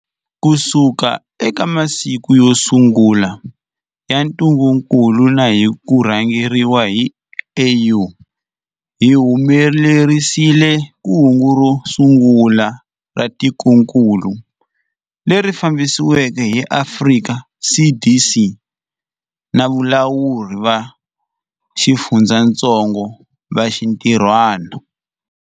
Kusuka eka masiku yo sungula ya ntungukulu na hi ku rhangeriwa hi AU, hi humelerisile kungu ro angula ra tikokulu, leri fambisiweke hi Afrika CDC na valawuri va xifundzatsongo va xintirhwana.